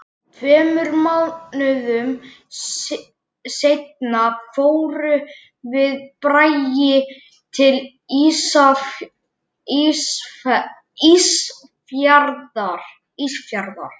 Á meðal babúítanna voru allra þjóða kvikindi, Írar, Kanadamenn